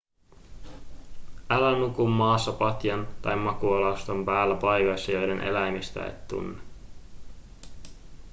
älä nuku maassa patjan tai makuualustan päällä paikoissa joiden eläimistöä et tunne